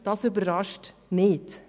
das überrascht nicht.